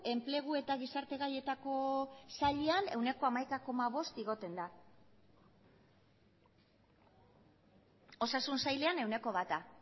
enplegu eta gizarte gaietako sailean ehuneko hamaika koma bost igotzen da osasun sailean ehuneko bata